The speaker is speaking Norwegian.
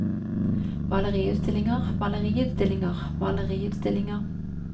maleriutstillinger maleriutstillinger maleriutstillinger